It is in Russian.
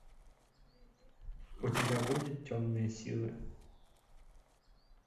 у тебя будет темные силы